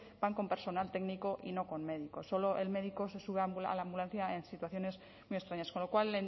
van con personal técnico y no con médicos solo el médico se suba a la ambulancia en situaciones muy extrañas con lo cual